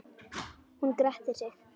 Hann grettir sig.